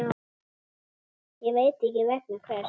Ég veit ekki vegna hvers.